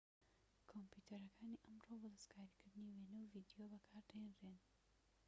کۆمپیوتەرەکانی ئەمڕۆ بۆ دەستکاریکردنی وێنە و ڤیدیۆ بەکاردەهێنرێن